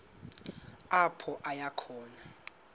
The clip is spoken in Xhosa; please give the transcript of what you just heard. apho aya khona